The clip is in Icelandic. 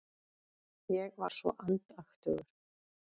Ég var svo andaktugur.